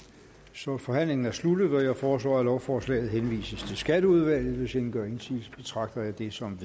så forhandlingen er sluttet jeg foreslår at lovforslaget henvises til skatteudvalget hvis ingen gør indsigelse betragter jeg det som